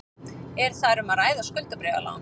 Er þar um að ræða skuldabréfalán